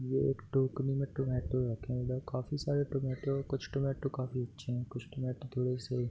ये एक टोकरी में टोमैटो रखे हैं | इधर काफ़ी सारे टोमैटो कुछ टोमैटो काफ़ी अच्छे हैं कुछ टोमैटो थोड़े से --